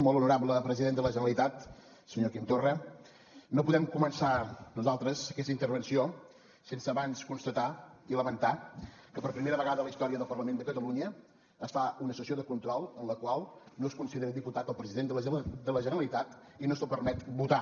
molt honorable president de la generalitat senyor quim torra no podem començar nosaltres aquesta intervenció sense abans constatar i lamentar que per primera vegada a la història del parlament de catalunya es fa una sessió de control en la qual no es considera diputat el president de la generalitat i no se’l permet votar